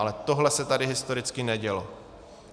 Ale tohle se tady historicky nedělo.